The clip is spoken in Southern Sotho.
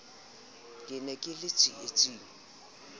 ke ne ke le tsietsing